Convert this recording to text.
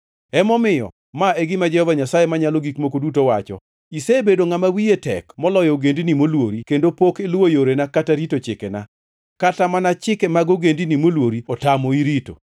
“Emomiyo, ma e gima Jehova Nyasaye Manyalo Gik Moko Duto wacho: Isebedo ngʼama wiye tek moloyo ogendini moluori kendo pok iluwo yorena kata rito chikena. Kata mana chike mag ogendini molwori otamoi rito.